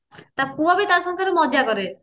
ତା ପୁଅ ବି ତା ସାଙ୍ଗରେ ମଜା କରେ